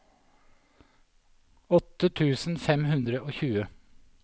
åtte tusen fem hundre og tjue